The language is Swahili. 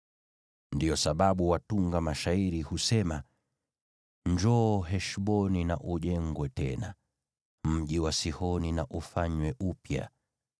Ndiyo sababu watunga mashairi husema: “Njoo Heshboni na ujengwe tena; mji wa Sihoni na ufanywe upya.